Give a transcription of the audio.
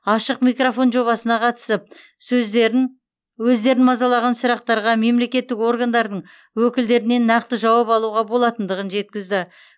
ашық микрофон жобасына қатысып өздерін мазалаған сұрақтарға мемлекеттік органдардың өкілдерінен нақты жауап алуға болатындығын жеткізді